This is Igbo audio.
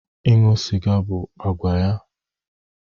Ịṅụ sịga bụ àgwà ya